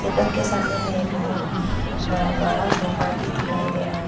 Table के सामने में बहोत बड़ा बड़ा सोफा भी दिखाई दे रहा है।